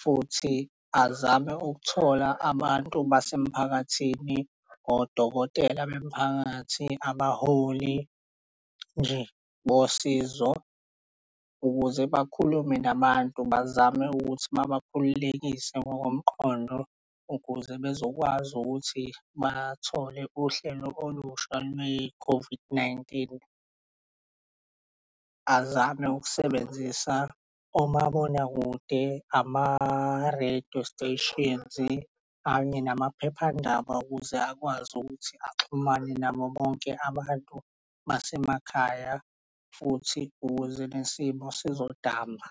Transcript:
futhi azame ukuthola abantu basemphakathin odokotela bemphakathi abaholi nje bosizo, ukuze bakhulume nabantu bazame ukuthi uma babakhululekise ngokomqondo ukuze bezokwazi ukuthi bathole uhlelo olusha lwe-COVID-19. Azame ukusebenzisa omabonakude ama-radio stations kanye namaphephandaba ukuze akwazi ukuthi axhumane nabo bonke abantu basemakhaya futhi ukuze nesimo sizodamba.